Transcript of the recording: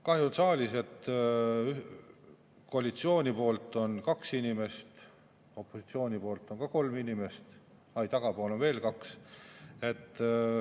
Kahju, et saalis on koalitsioonist ainult kaks inimest, opositsioonist on ka kolm inimest, aa, ei, tagapool on veel kaks.